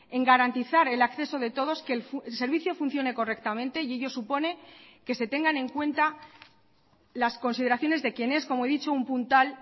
en garantizar el acceso de todos que el servicio funcione correctamente y ello supone que se tengan en cuenta las consideraciones de quien es como he dicho un puntal